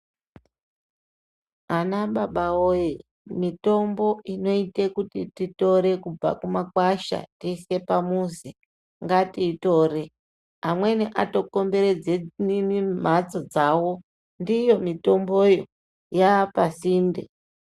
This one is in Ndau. Anababa woye mitombo inoita kuti tore kubva mumakwasha tiise pamuzi ngatiyitore amweni atokomberedza mbatso dzavo ndiyo mitombo iyo yava pasinde.